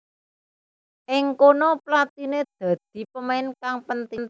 Ing kono Platini dadi pemain kang penting